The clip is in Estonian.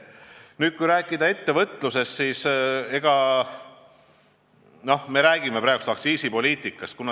Räägime ettevõtlusest.